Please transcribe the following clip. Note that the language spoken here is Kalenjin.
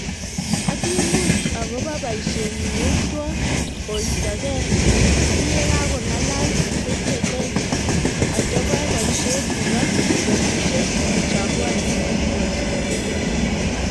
aki much akpo boisenyi yeitwo koistoki kiyekokongalol sechekei atobo boishet nebo petusiek cha pwonoi koistokei